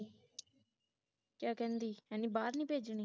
ਕਿਆ ਕਹਿੰਦੀ ਮੈਂ ਬਾਹਰ ਨਹੀ ਭੇਜ ਨੀਂ